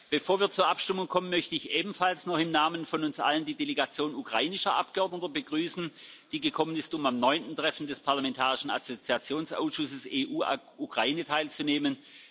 Bevor wir zur Abstimmung kommen, möchte ich ebenfalls noch im Namen von uns allen die Delegation ukrainischer Abgeordneter begrüßen, die gekommen ist, um am neunten Treffen des Parlamentarischen Assoziationsausschusses EU Ukraine teilzunehmen.